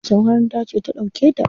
Wace makaranta ce ta ɗauke ta?